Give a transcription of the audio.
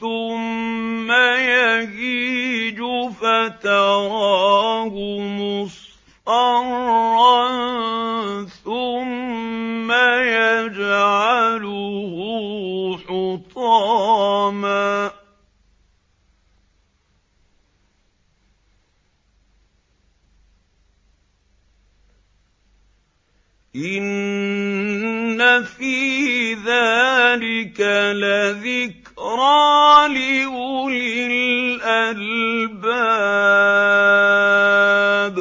ثُمَّ يَهِيجُ فَتَرَاهُ مُصْفَرًّا ثُمَّ يَجْعَلُهُ حُطَامًا ۚ إِنَّ فِي ذَٰلِكَ لَذِكْرَىٰ لِأُولِي الْأَلْبَابِ